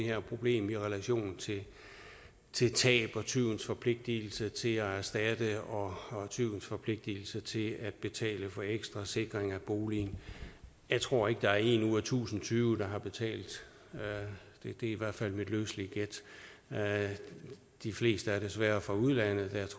her problem i relation til tab og tyvens forpligtelse til at erstatte og og tyvens forpligtelse til at betale for ekstra sikring af boligen jeg tror ikke der er en ud af tusind tyve der har betalt det er i hvert fald mit løselige gæt de fleste er desværre fra udlandet